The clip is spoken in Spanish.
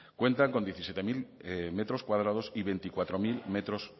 cuentan con diecisiete mil m y veinticuatro mil metros